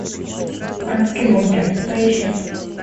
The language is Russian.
адский бункер поищи